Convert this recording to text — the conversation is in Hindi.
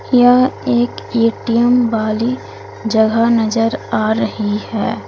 यह एक ए_टी_एम वाली जगह नजर आ रही है।